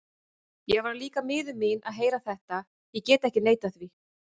Ég varð líka miður mín að heyra þetta, ég get ekki neitað því.